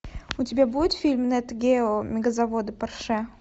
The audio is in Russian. у тебя будет фильм нет гео мегазаводы порше